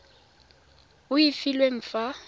e o e filweng fa